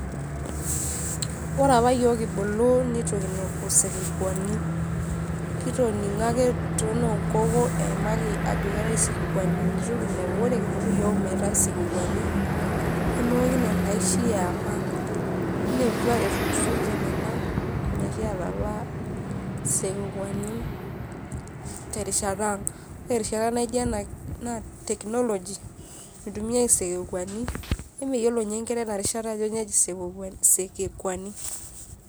Ore apa yiok kibulu nitu kinepu sekekuani. Kitoning'o ake tononkoko eimaki ajo keetae isekekuani itu kinepu. Ore kibulu yiok meetae sekekuani, nemeoki nena aishi eapa. Kineputua etulusoitie nena mekiata apa sekekuani terishata ang, erishata nijo ena naa technology mitumiai isekekuani, emeyiolo nye nkera enarishata ajo nyoo eji sekekuani.